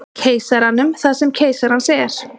Keisaranum það sem keisarans er.